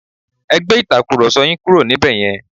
Ẹ gbé Ìtàkùrọ̀sọ yín kúrò níbẹ̀ yẹn!